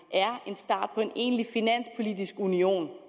hvor en egentlig finanspolitisk union